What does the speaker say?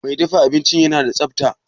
Mai dafa abincin yana da tsafta?